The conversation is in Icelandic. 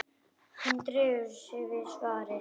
Hann dregur við sig svarið.